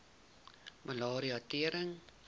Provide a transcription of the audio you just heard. malaria tering